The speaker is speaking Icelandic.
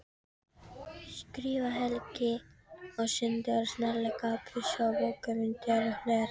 skrifar Helgi og sendir snarlega þessar bókmenntir og fleiri.